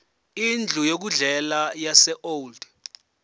indlu yokudlela yaseold